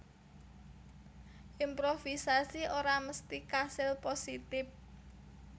Improvisasi ora mesti kasil positip